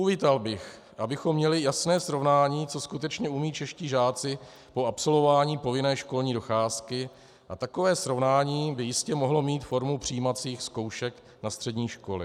Uvítal bych, abychom měli jasné srovnání, co skutečně umějí čeští žáci po absolvování povinné školní docházky, a takové srovnání by jistě mohlo mít formu přijímacích zkoušek na střední školy.